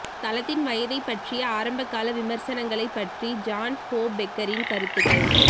தளத்தின் வயதை பற்றிய ஆரம்பகால விமர்சனங்களைப் பற்றி ஜான் ஹோஃபெக்கரின் கருத்துகள்